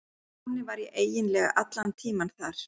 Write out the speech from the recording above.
Þannig var ég eiginlega allan tímann þar.